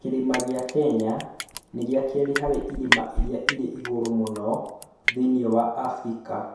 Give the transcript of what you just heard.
Kĩrĩma kĩa Kenya nĩ gĩa kerĩ harĩ irĩma iria irĩ igũrũ mũno thĩinĩ wa Afrika.